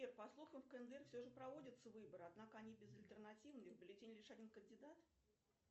сбер по слухам в кндр все же проводятся выборы однако они безальтернативные в бюллетени лишь один кандидат